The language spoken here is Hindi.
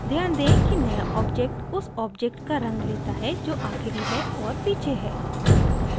ध्यान दें कि नया object उस object का रंग लेता है जो आखिरी है और पीछे है